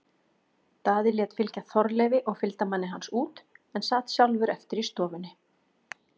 Daði lét fylgja Þorleifi og fylgdarmanni hans út en sat sjálfur eftir í stofunni.